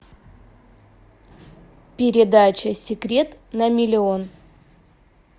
передача секрет на миллион